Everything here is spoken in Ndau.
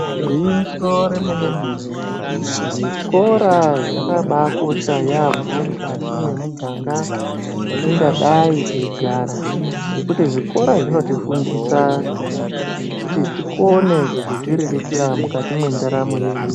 Gwinyiso remene mene zvikora zvakabakosha yamho mukati mwemuganga yatingadai teigara ngekuti zvikora zvinotifundisa kuti tikone kuzodziriritira mwukati mwendaramo yedu.